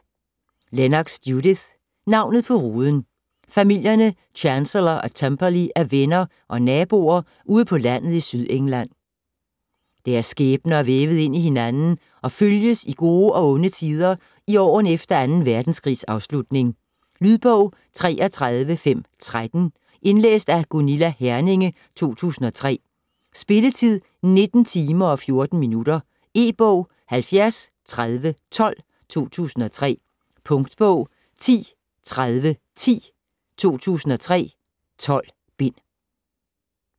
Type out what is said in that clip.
Lennox, Judith: Navnet på ruden Familierne Chancellor og Temperley er venner og naboer ude på landet i Sydengland. Deres skæbner er vævet ind i hinanden og følges i gode og onde tider i årene efter 2. verdenskrigs afslutning. Lydbog 33513 Indlæst af Gunilla Herminge, 2003. Spilletid: 19 timer, 14 minutter. E-bog 703012 2003. Punktbog 103010 2003. 12 bind.